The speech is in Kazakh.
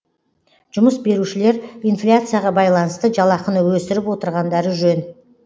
жұмыс берушілер инфляцияға байланысты жалақыны өсіріп отырғандары жөн